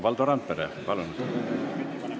Valdo Randpere, palun!